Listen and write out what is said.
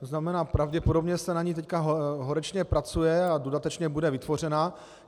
To znamená, pravděpodobně se na ní teď horečně pracuje a dodatečně bude vytvořena.